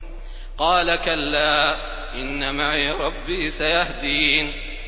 قَالَ كَلَّا ۖ إِنَّ مَعِيَ رَبِّي سَيَهْدِينِ